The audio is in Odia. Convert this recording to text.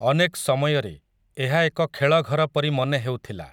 ଅନେକ୍ ସମୟରେ, ଏହା ଏକ ଖେଳଘର ପରି ମନେ ହେଉଥିଲା ।